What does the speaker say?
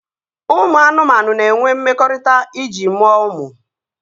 Ụmụ anụmanụ na-enwe mmekọrịta iji mụọ ụmụ